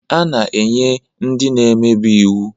A na-enye ndị na-emebi iwu